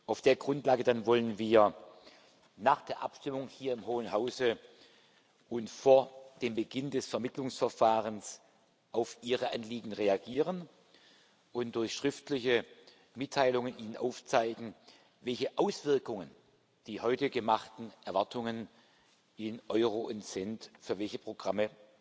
Auf der Grundlage wollen wir dann nach der Abstimmung hier im Hohen Hause und vor dem Beginn des Vermittlungsverfahrens auf Ihre Anliegen reagieren und Ihnen durch schriftliche Mitteilungen aufzeigen, welche Auswirkungen die heute gemachten Erwartungen in Euro und Cent für welche Programme